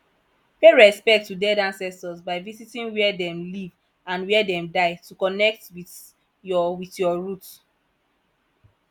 pay respect to dead ancestors by visiting where dem live and where dem die to connect with your with your root